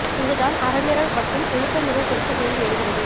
இங்கு தான் அறமீறல் மற்றும் ஒழுக்க மீறல் குறித்த கேள்வி எழுகிறது